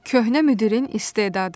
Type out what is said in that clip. Köhnə müdirin istedadı.